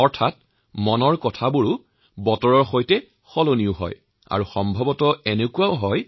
অৰ্থাৎ এই মন কী বাত বতৰ পৰিৱৰ্তনৰ সমান্তৰালভাৱে সলনি হৈছে